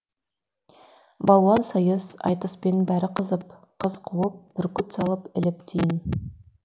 балуан сайыс айтыспен бәрі қызып қыз қуып бүркіт салып іліп тиын